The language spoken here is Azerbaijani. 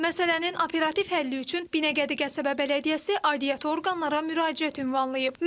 Məsələnin operativ həlli üçün Binəqədi qəsəbə bələdiyyəsi aidiyyatı orqanlara müraciət ünvanlayıb.